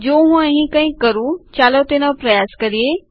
જો હું અહીં કંઈક કરું ચાલો તેનો પ્રયાસ કરીએ